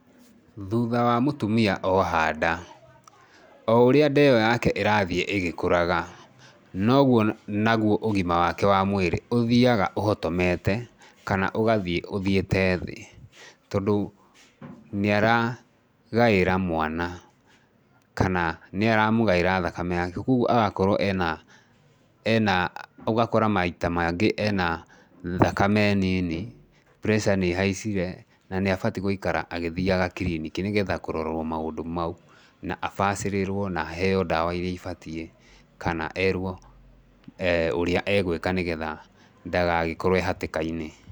Thutha wa mũtumia oha nda, oũrĩa nda ĩo yake ĩrathiĩ ĩgĩkũraga, noguo naguo ũgima wake wa mwĩrĩ ũthiaga ũhotomete kana ũgathiĩ ũthiĩte thĩ tondũ nĩ aragaĩra mwana kana nĩ aramũgaĩra thakame yake koguo agakorwo ena, ena maita maingĩ ena thakame nini, pureca nĩ ĩhaicire na nĩ abatiĩ gũikara agĩthiaga kiriniki nĩgetha kũrorwo maũndũ mau na abacĩrĩrwo na aheo ndawa iria ibatiĩ kana erwo ũrĩa egũĩka nĩgetha ndagagĩkorwo e hatĩka-inĩ.